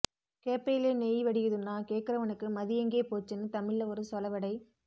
கேப்பையிலே நெய் வடியுதுன்னா கேக்குறவனுக்கு மதியெங்கே போச்சுன்னு தமிழ்ல ஒரு சொலவடை